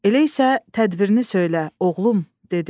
Elə isə tədbirini söylə, oğlum, dedi.